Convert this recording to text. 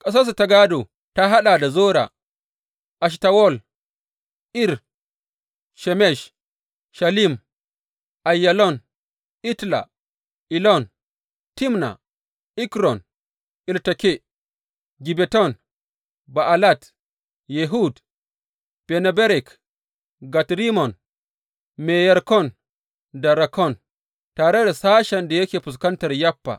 Ƙasarsu ta gādo ta haɗa da, Zora, Eshtawol, Ir Shemesh, Shalim, Aiyalon, Itla, Elon, Timna, Ekron, Elteke, Gibbeton, Ba’alat, Yehud, Bene Berak, Gat Rimmon, Me Yarkon da Rakkon tare da sashen da yake fuskantar Yaffa.